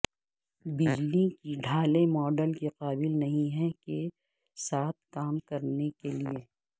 بجلی کی ڈھالیں ماڈل کے قابل نہیں ہے کے ساتھ کام کرنے کے لئے